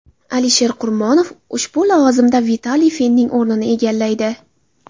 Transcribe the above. Alisher Qurmonov ushbu lavozimda Vitaliy Fenning o‘rnini egallaydi.